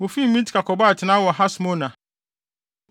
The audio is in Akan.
Wofii Mitka kɔbɔɔ atenae wɔ Hasmona.